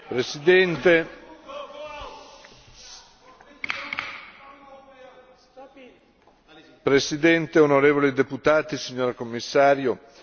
Signor Presidente, onorevoli deputati, signora Commissario, la recente epidemia di ebola in Africa occidentale è la più importante nel suo genere.